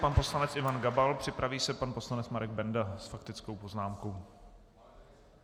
Pan poslanec Ivan Gabal, připraví se pan poslanec Marek Benda s faktickou poznámkou.